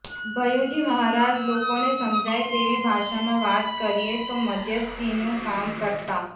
ભૈયુજી મહારાજ લોકોને સમજાય તેવી ભાષામાં વાત કરીએ તો મધ્યસ્થીનું કામ કરતાં